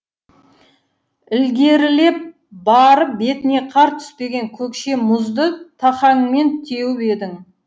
ілгерілеп барып бетіне қар түспеген көкше мұзды тақаңмен теуіп едің